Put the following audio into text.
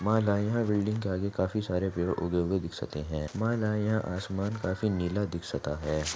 माला यह बिल्डिंग के आगे काफी सारे पेड़ उगे हुए दिख सकते है विधायक यह आसमान काफी नीला दिख सकता है.